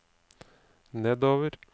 nedover